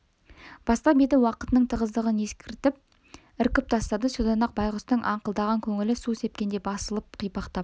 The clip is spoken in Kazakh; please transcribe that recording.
бастап еді уақытының тығыздығын ескертіп іркіп тастады содан-ақ байғұстың аңқылдаған көңілі су сепкендей басылып қипақтап